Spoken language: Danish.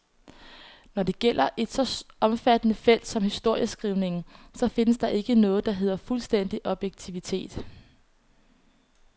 Når det gælder et så omfattende felt som historieskrivningen, så findes der ikke noget, der hedder fuldstændig objektivitet.